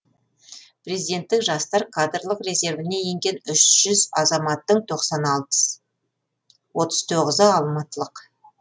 президенттік жастар кадрлық резервіне енген үш жүз азаматтың отыз тоғызы алматылық